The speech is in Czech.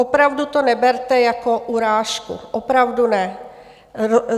Opravdu to neberte jako urážku, opravdu ne.